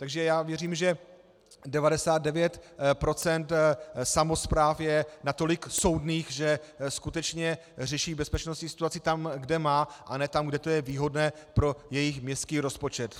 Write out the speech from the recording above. Takže já věřím, že 99 % samospráv je natolik soudných, že skutečně řeší bezpečnostní situaci tam, kde má, a ne tam, kde to je výhodné pro jejich městský rozpočet.